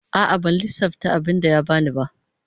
A'a ban lissafta abinda ya bani ba.